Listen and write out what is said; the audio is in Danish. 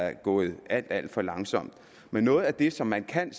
er gået alt alt for langsomt men noget af det som man kan